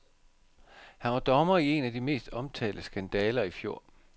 Han var dommer i en af de mest omtalte skandaler i fjor.